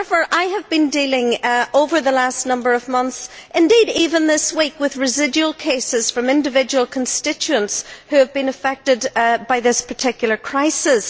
I have been dealing over the last number of months, indeed even this week, with residual cases from individual constituents who have been affected by this particular crisis.